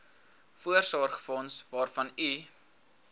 voorsorgsfonds waarvan u